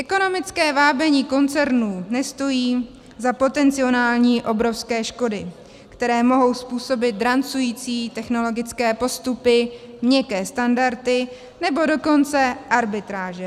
Ekonomické vábení koncernů nestojí za potenciální obrovské škody, které mohou způsobit drancující technologické postupy, měkké standardy, nebo dokonce arbitráže.